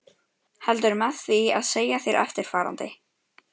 Heldur með því að segja þér eftirfarandi